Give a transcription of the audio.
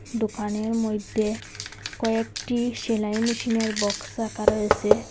দোকানের মইদ্যে কয়েকটি সেলাই মেশিনের বক্স রাখা রয়েসে।